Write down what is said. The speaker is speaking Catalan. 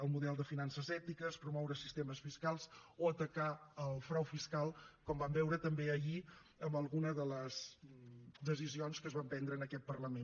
el model de finances ètiques promoure sistemes fiscals o atacar el frau fiscal com vam veure també ahir en alguna de les decisions que es van prendre en aquest parlament